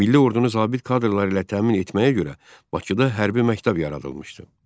Milli ordunu zabit kadrları ilə təmin etməyə görə Bakıda hərbi məktəb yaradılmışdı.